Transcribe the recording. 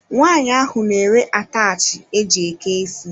Nwanyi ahụ na ere ataachi e jị eke isi.